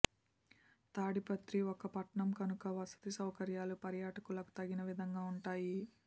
తాడిపత్రి ఒక పట్టణం కనుక వసతి సౌకర్యాలు పర్యాటకులకు తగిన విధంగా ఉంటాయి